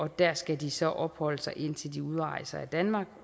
der skal de så opholde sig indtil de udrejser af danmark